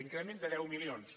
increment de deu milions